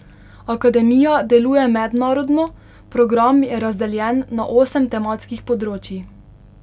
Akademija deluje mednarodno, program je razdeljen na osem tematskih področij.